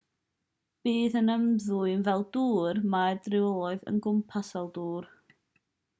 bydd yn ymddwyn fel dŵr mae'r dryloyw yn gwmws fel dŵr